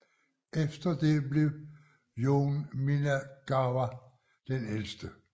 Efter det blev Yone Minagawa den ældste